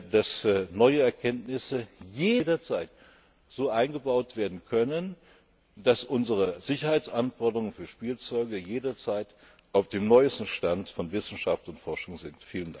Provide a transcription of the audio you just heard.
gemacht, dass neue Erkenntnisse jederzeit so eingebaut werden können, dass unsere Sicherheitsanforderungen für Spielzeuge jederzeit auf dem neuesten Stand von Wissenschaft und Forschung sind.